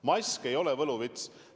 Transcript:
Mask ei ole võluvits!